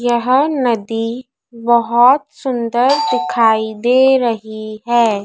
यह नदी बहोत सुंदर दिखाई दे रही है।